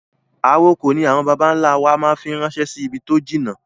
Àrokò ni àwọn bàbà ń lá wa máa fi ń rànsẹ́ sì ibi tó jìnnà